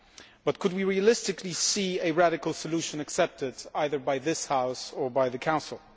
But could we realistically see a radical solution accepted either by this House or by the Council?